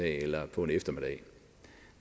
eller på en eftermiddag